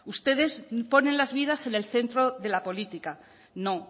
ustedes ponen las vidas en el centro de la política no